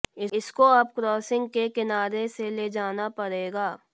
इसको अब क्रॉसिंग के किनारे से ले जाना पड़ेगा